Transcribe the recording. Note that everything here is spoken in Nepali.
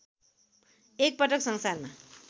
एकपटक संसारमा